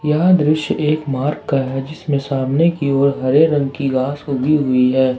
यह दृश्य एक मार्ग का है जिसमें सामने की ओर हरे रंग की घास उगी हुई है।